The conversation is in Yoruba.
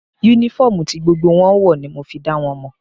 Únífọ́ọ̀mù ti gbogbo wọn ń wọ̀ ní mo fi dá wọn mọ̀